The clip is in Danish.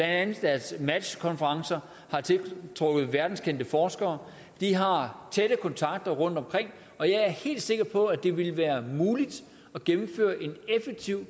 andet deres match konferencer har tiltrukket verdenskendte forskere de har tætte kontakter rundtomkring og jeg er helt sikker på at det ville have været muligt at gennemføre en effektiv